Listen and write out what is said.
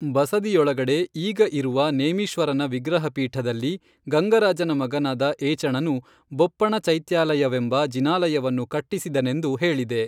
ಬಸದಿಯೊಳಗಡೆ ಈಗ ಇರುವ ನೇಮೀಶ್ವರನ ವಿಗ್ರಹಪೀಠದಲ್ಲಿ ಗಂಗರಾಜನ ಮಗನಾದ ಏಚಣನು ಬೊಪ್ಪಣ ಚೈತ್ಯಾಲಯವೆಂಬ ಜಿನಾಲಯವನ್ನು ಕಟ್ಟಿಸಿದನೆಂದು ಹೇಳಿದೆ.